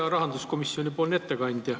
Hea rahanduskomisjoni esimees!